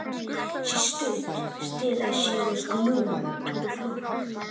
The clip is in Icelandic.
Hún stóð grafkyrr eins og hún væri límd við gólfið.